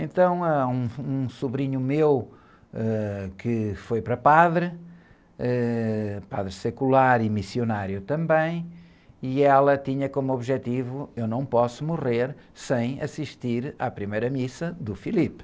Então, ãh, um, um sobrinho meu, ãh, que foi para padre, eh, padre secular e missionário também, e ela tinha como objetivo, eu não posso morrer sem assistir à primeira missa do.